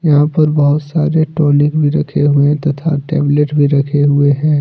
यहां पर बहुत सारे टॉनिक भी रखे हुए तथा टैबलेट भी रखे हुए हैं।